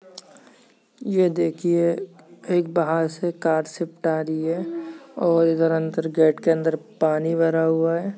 ये देखिये एक बाहर से कार से आ रही है और इधर अंदर गेट के अंदर पानी भरा हुआ है।